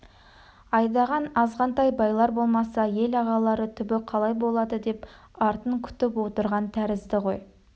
айдаған азғантай байлар болмаса ел ағалары түбі қалай болады деп артын күтіп отырған тәрізді ғой